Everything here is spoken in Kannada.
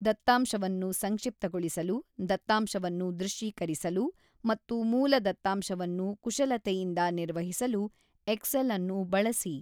ದತ್ತಾಂಶವನ್ನು ಸಂಕ್ಷಿಪ್ತಗೊಳಿಸಲು, ದತ್ತಾಂಶವನ್ನು ದೃಶ್ಯೀಕರಿಸಲು ಮತ್ತು ಮೂಲ ದತ್ತಾಂಶವನ್ನು ಕುಶಲತೆಯಿಂದ ನಿರ್ವಹಿಸಲು ಎಕ್ಸೆಲ್ ಅನ್ನು ಬಳಸಿ.